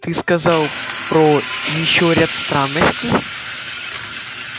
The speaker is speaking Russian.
ты сказал про ещё ряд странностей